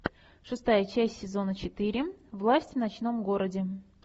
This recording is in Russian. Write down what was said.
шестая часть сезона четыре власть в ночном городе